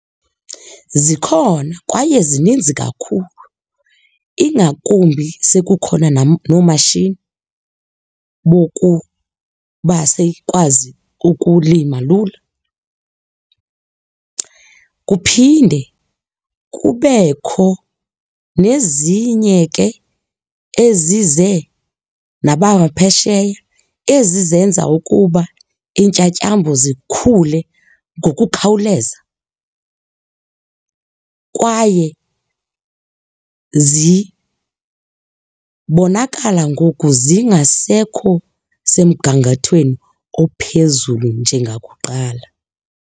Zikhona kwaye zininzi kakhulu ingakumbi sekukhona noomatshini bokuba sikwazi ukulima lula. Kuphinde kubekho nezinye ke ezize nabaphesheya, ezi zenza ukuba iintyatyambo zikhule ngokukhawuleza, kwaye zibonakala ngoku zingasekho semgangathweni ophezulu njengakuqala.